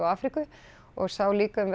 Afríku og sá líka um